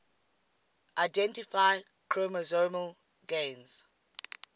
identify chromosomal gains